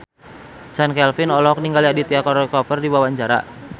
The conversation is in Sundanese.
Chand Kelvin olohok ningali Aditya Roy Kapoor keur diwawancara